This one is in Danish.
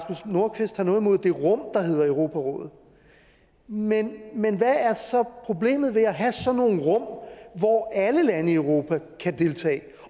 nordqvist har noget imod det rum der hedder europarådet men hvad er så problemet ved at have sådan nogle rum hvor alle lande i europa kan deltage